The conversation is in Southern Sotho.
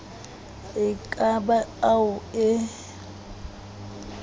e ka ba ao e